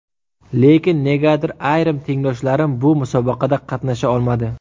Lekin negadir, ayrim tengdoshlarim bu musobaqada qatnasha olmadi.